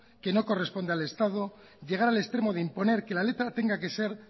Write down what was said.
que no corresponde al estado llegar al extremo de imponer que la letra tenga que ser